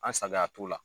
An saliya t'u la